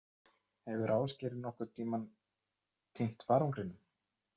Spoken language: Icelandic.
Hefur Ásgeir nokkurn tímann týnt farangrinum?